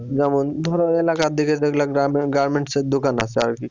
যেমন ধরেন এলাকার দিকে যেগুলা garmen garments এর দোকান আছে আর কি